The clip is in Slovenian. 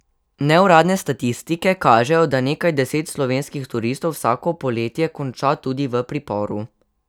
Neuradne statistike kažejo, da nekaj deset slovenskih turistov vsako poletje konča tudi v priporu.